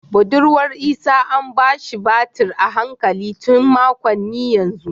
Budurwar Isah an ba shi batir a hankali tun makonni yanzu